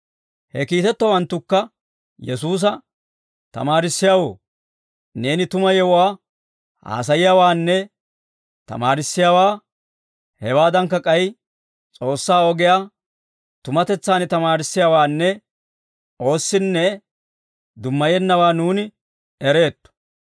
He kiitettowanttukka Yesuusa, «Tamaarissiyaawoo, neeni tuma yewuwaa haasayiyaawaanne tamaarissiyaawaa, hewaadankka k'ay S'oossaa ogiyaa tumatetsaan tamaarissiyaawaanne oossinne dummayennawaa nuuni ereetto.